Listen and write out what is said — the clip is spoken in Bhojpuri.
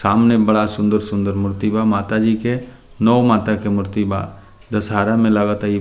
सामने बड़ा सुन्दर-सुन्दर मूर्ति बा माता जी के नौ माता के मूर्ति बा दशहारा में लागा ता इ --